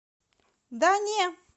да не